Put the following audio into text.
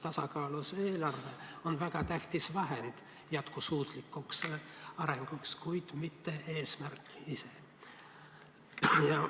Tasakaalus eelarve on väga tähtis vahend jätkusuutlikuks arenguks, kuid mitte eesmärk ise.